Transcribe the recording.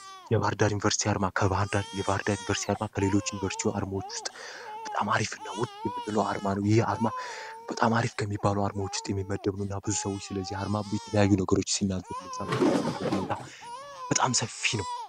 የቫርዳ ዩኒቨርስሲ ርማ ከቫህንዳ የቫርዳ ዩኒቨርሲቲ አርማ ከሌሎች ዩኒቨርስቲ አርማዎች ውስጥ በጣም አሪፍ እና ውድ የምንሎ አርማ ነው ይህ በጣም አሪፍ ከሚባሉ አርማዎች ውስጥ የሚመደብኑ እና ብዙ ሰዎች ስለዚህ አርማብብ የተለያዩ ነገሮች ሲናገር መዛማንክልበት ሁኔታ በጣም ሰፊ ነው